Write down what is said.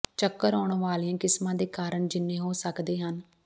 ਚੱਕਰ ਆਉਣ ਵਾਲੀਆਂ ਕਿਸਮਾਂ ਦੇ ਕਾਰਣਾਂ ਜਿੰਨੇ ਹੋ ਸਕਦੇ ਹਨ